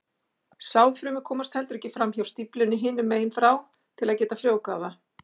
Sáðfrumur komast heldur ekki fram hjá stíflunni hinum megin frá til að geta frjóvgað það.